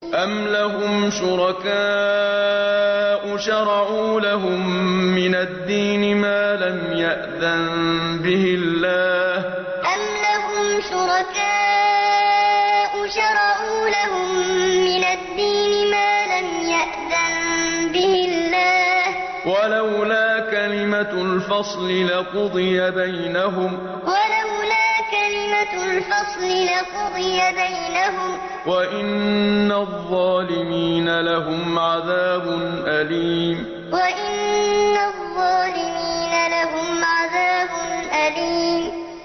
أَمْ لَهُمْ شُرَكَاءُ شَرَعُوا لَهُم مِّنَ الدِّينِ مَا لَمْ يَأْذَن بِهِ اللَّهُ ۚ وَلَوْلَا كَلِمَةُ الْفَصْلِ لَقُضِيَ بَيْنَهُمْ ۗ وَإِنَّ الظَّالِمِينَ لَهُمْ عَذَابٌ أَلِيمٌ أَمْ لَهُمْ شُرَكَاءُ شَرَعُوا لَهُم مِّنَ الدِّينِ مَا لَمْ يَأْذَن بِهِ اللَّهُ ۚ وَلَوْلَا كَلِمَةُ الْفَصْلِ لَقُضِيَ بَيْنَهُمْ ۗ وَإِنَّ الظَّالِمِينَ لَهُمْ عَذَابٌ أَلِيمٌ